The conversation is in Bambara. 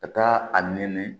Ka taa a nɛni